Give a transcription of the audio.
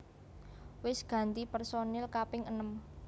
Wis ganti personil kaping enem